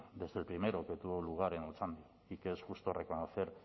desde el primero que tuvo lugar en otxandio y que es justo reconocer